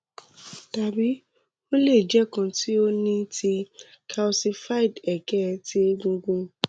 tabi o le jẹ kan ti o ni ti kalsified ege ti egungun